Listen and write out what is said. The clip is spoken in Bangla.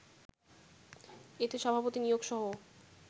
এতে সভাপতি নিয়োগসহ